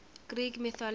greek mythology